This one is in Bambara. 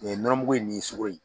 U ye nɔnɔmugu in ni sugɔro in